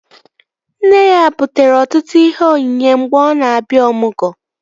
Nne ya butere ọtụtụ ihe onyinye mgbe ọ na-abịa ọmụgwọ